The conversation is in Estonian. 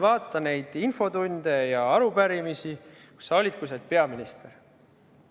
Vaata neid infotunde ja arupärimisi, kus sa olid peaminister!